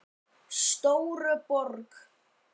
Stóruborg